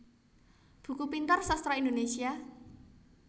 Buku Pintar Sastra Indonesia